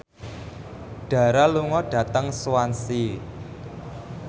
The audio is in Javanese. Dara lunga dhateng Swansea